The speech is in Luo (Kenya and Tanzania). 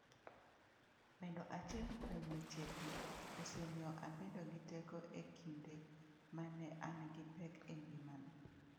""Bedo achiel kuom wechegi osemiyo abedo gi teko e kinde ma ne an gi pek e ngimana."